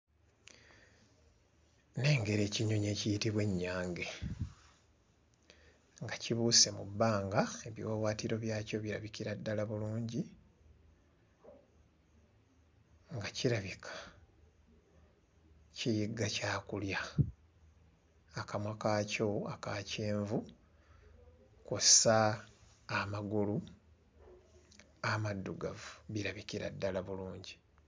Nnengera ekinyonyi ekiyitibwa ennyange nga kibuuse mu bbanga ebiwawaatiro byakyo birabikira ddala bulungi nga kirabika kiyigga kyakulya akamwa kaakyo aka kyenvu kw'ossa amagulu amaddugavu birabikira ddala bulungi.